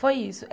Foi isso.